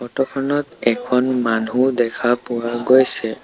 Photo খনত এখন মানুহ দেখা পোৱা গৈছে।